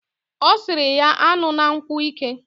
Osiri ya an̄una nkwu ike.